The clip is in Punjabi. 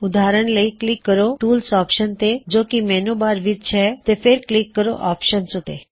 ਉਦਾਹਰਣ ਲਈ ਕਲਿੱਕ ਕਰੋ ਟੂਲਸ ਆਪਸ਼ਨ ਤੇ ਜੋ ਕੀ ਮੈੱਨਯੂ ਬਾਰ ਵਿੱਚ ਹੇ ਤੇ ਫੇਰ ਕਲਿੱਕ ਕਰੋ ਆਪਸ਼ਨਜ਼ ਉੱਤੇ